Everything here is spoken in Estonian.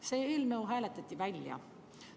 See eelnõu hääletati välja.